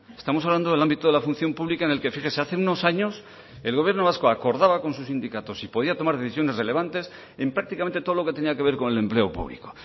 estamos hablando del ámbito de la función pública en el que fíjese hace unos años el gobierno vasco acordaba con sus sindicatos si podía tomar decisiones relevantes en prácticamente todo lo que tenía que ver con el empleo público